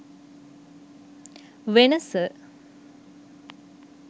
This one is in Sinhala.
wenasa